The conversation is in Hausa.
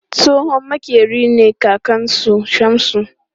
Tsohon maƙeri ne kakan su Shamsu